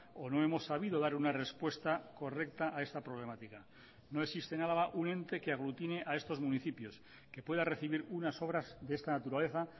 o no hemos sabido dar una respuesta correcta a esta problemática no existe en álava un ente que aglutine a estos municipios que pueda recibir unas obras de esta naturaleza